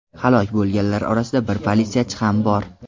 Halok bo‘lganlar orasida bir politsiyachi ham bor.